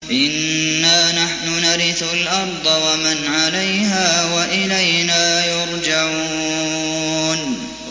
إِنَّا نَحْنُ نَرِثُ الْأَرْضَ وَمَنْ عَلَيْهَا وَإِلَيْنَا يُرْجَعُونَ